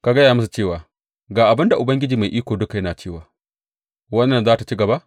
Ka gaya musu cewa, Ga abin da Ubangiji Mai Iko Duka yana cewa wannan za tă ci gaba?